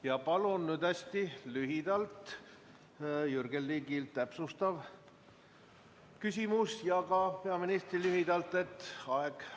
Ja palun nüüd hästi lühidalt Jürgen Ligilt täpsustav küsimus ja ka peaministrilt lühike vastus.